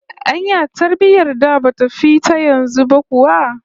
Anya tarbiyyar da bata fi ta yanzu ba kuwa?